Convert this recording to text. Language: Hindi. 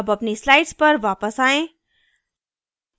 अब अपनी slides पर वापस आयें